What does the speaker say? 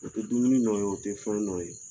O tɛ dumuni nɔ ye o tɛ fɛn nɔ ye